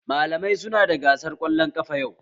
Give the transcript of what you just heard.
Malamai su na da gasar kwallon ƙafa yau